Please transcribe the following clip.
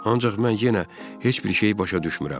Ancaq mən yenə heç bir şeyi başa düşmürəm.